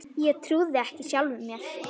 Ég trúði ekki sjálfum mér.